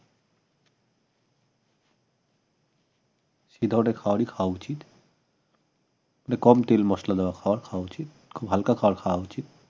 সেধরনের খাবারই খাওয়া উচিত মানে কম তেল মসলা দেয়া খাবার খাওয়া উচিত খুব হালকা খাবার খাওয়া উচিত